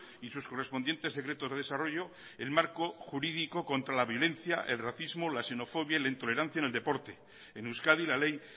y sus correspondientes decretos de desarrollo en marco jurídico contra la violencia el racismo la xenofobia y la tolerancia en el deporte en euskadi la ley